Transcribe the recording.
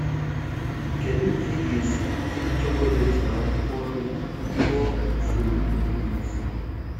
Kedụ ka ị ga esi jiri chocolate na-akwụkwọ nri chụọ nsogbụ ụbụrụisi